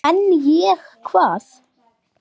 En ég, hvað?